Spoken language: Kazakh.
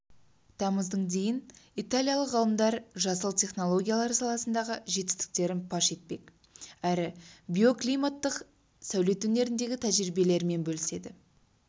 тамыздың дейін италиялық ғалымдар жасыл технологиялар саласындағы жетістіктерін паш етпек әрі биоклиматтық сәулет өнеріндегі тәжірибелерімен бөліседі